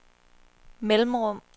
mellemrum